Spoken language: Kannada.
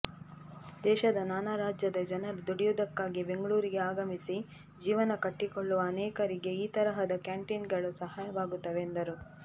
ದೇಶದ ನಾನಾ ರಾಜ್ಯದ ಜನರು ದುಡಿಯುವುದಕ್ಕಾಗಿ ಬೆಂಗಳೂರಿಗೆ ಆಗಮಿಸಿ ಜೀವನ ಕಟ್ಟಿಕೊಳ್ಳುವ ಅನೇಕರಿಗೆ ಈ ತರಹದ ಕ್ಯಾಂಟೀನ್ಗಳು ಸಹಾಯವಾಗುತ್ತವೆ ಎಂದರು